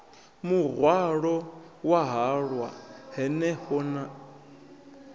muhwalo wa halwa hanefho he